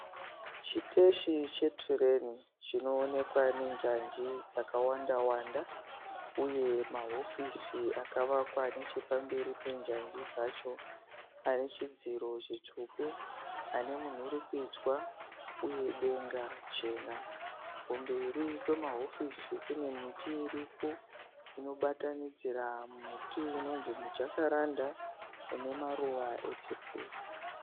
Chiteshi che tireni chinoonekwa nenjanji dzakawanda wanda uye ma hofisi akavakwa nechepamberi penjanji dzacho anechidziro chitsvuku ,anemudurukidzwa uye denga chena . Kumberi kwe ma hofisi kune miti iniko inosanganisira miti yemujakaranda.